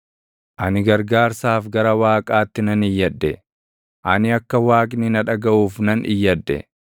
Ani gargaarsaaf gara Waaqaatti nan iyyadhe; ani akka Waaqni na dhagaʼuuf nan iyyadhe.